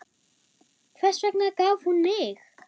Hvers vegna gaf hún mig?